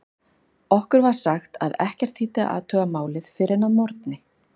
Okkur var sagt að ekkert þýddi að athuga málið fyrr en að morgni.